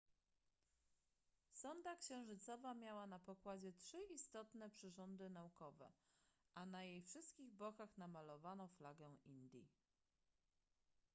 sonda księżycowa miała na pokładzie trzy istotne przyrządy naukowe a na jej wszystkich bokach namalowano flagę indii